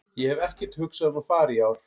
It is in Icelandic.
Ég hef ekkert hugsað um að fara í ár.